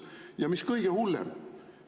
Ja mis kõige hullem?